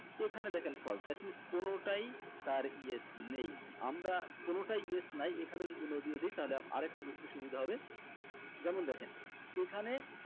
এখানে দেখেন false that means কোনোটাই তার yes নেই আমরা কোনোটাই yes নাই এখানে যদি no দিয়ে দেই তাহলে আরেকটু বুঝতে সুবিধা হবে যেমন দেখেন এখানে